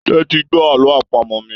Tẹti gbọ àlọ àpamọ̀ mí!